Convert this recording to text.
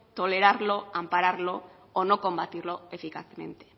tolerarlo ampararlo o no combatirlo eficazmente